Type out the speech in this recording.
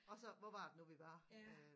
Og så hvor var det nu vi var øh